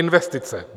Investice.